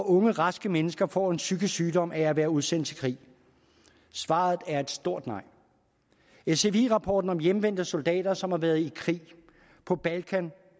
ungt raskt menneske får en psykisk sygdom af at være udsendt i krig svaret er et stort nej sfi rapporten om hjemvendte soldater som har været i krig på balkan